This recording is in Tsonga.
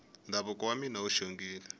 ndhavuko wa mina wu xongile